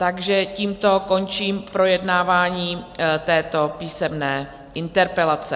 Takže tímto končím projednávání této písemné interpelace.